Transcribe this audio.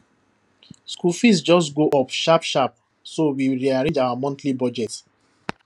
school fees just go up sharp sharp so we rearrange our monthly budget